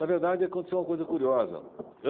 Na verdade, aconteceu uma coisa curiosa.